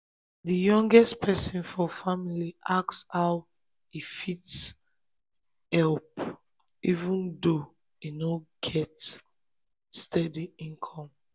di youngest person for family ask how e fit help fit help even though e no get steady income.